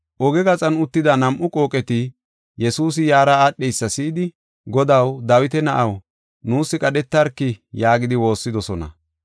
Oge gaxan uttida nam7u qooqeti Yesuusi yaara aadheysa si7idi, “Godaw, Dawita Na7aw, nuus qadhetarki” yaagidi waassidosona.